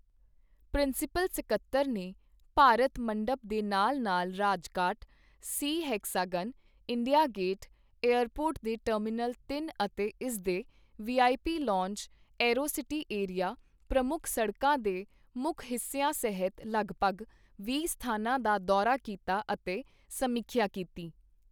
Principal ਸਕੱਤਰ ਨੇ ਭਾਰਤ ਮੰਡਪਮ ਦੇ ਨਾਲ-ਨਾਲ Rajghat, C hexagon, India Gate, airport ਦੇ ਟਰਮੀਨਲ ਤਿੰਨ ਅਤੇ ਇਸ ਦੇ V I P lounge, Aerocity area, ਪ੍ਰਮੁੱਖ ਸੜਕਾਂ ਦੇ ਮੁੱਖ ਹਿੱਸਿਆਂ ਸਹਿਤ ਲਗਭਗ ਵੀਹ ਸਥਾਨਾਂ ਦਾ ਦੌਰਾ ਕੀਤਾ ਅਤੇ ਸਮੀਖਿਆ ਕੀਤੀ।